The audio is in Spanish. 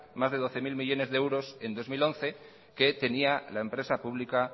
más de doce mil millónes de euros en dos mil once que tenía la empresa pública